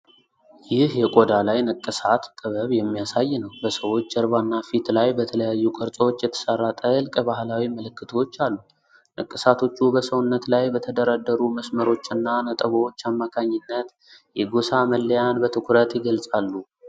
ይህ የቆዳ ላይ ንቅሳት ጥበብ የሚያሳይ ነው። በሰዎች ጀርባና ፊት ላይ በተለያዩ ቅርጾች የተሠራ ጥልቅ ባህላዊ ምልክቶች አሉ። ንቅሳቶቹ በሰውነት ላይ በተደረደሩ መስመሮችና ነጥቦች አማካኝነት የጎሳ መለያን በትኩረት ይገልጻሉ።